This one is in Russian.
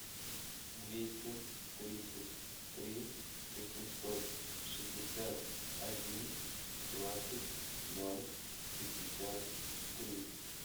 двести тридцать три восемьсот шестьдесят один двадцать ноль пятьдесят три